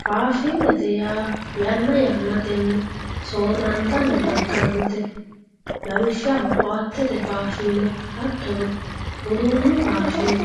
Faashinete yaa yana ya'natenni soorantanni daganote, lawishaho koatete fashine hatono uduunu faashine